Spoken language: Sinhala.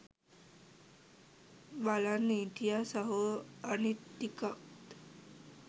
බලන් හිටියෙ සහො අනිත් ටිකත්